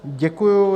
Děkuji.